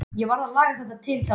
Ég varð að laga til þarna.